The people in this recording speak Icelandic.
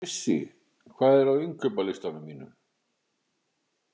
Frissi, hvað er á innkaupalistanum mínum?